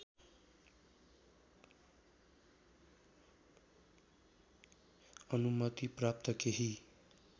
अनुमति प्राप्त केही